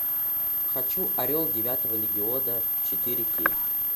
хочу орел девятого легиона четыре кей